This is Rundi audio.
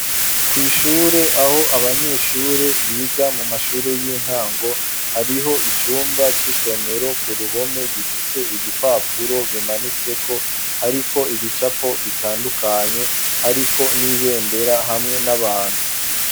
Ku ishure aho abanyeshure biga mu mashure y'intango hariho icumba c'isomero ku ruhome gifise ibipapuro bimanitse ko ariko ibicapo bitandukanye ariko n'ibendera hamwe n'abantu.